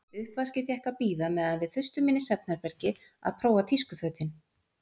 Uppvaskið fékk að bíða meðan við þustum inn í svefnherbergi að prófa tískufötin.